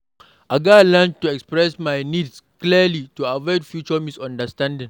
I gats learn to express my needs clearly to avoid future misunderstandings.